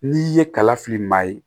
N'i ye kala fili maa ye